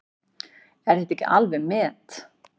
Er þetta ekki alveg met!